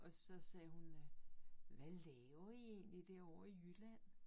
Og så sagde hun øh hvad laver I egentlig derovre i Jylland?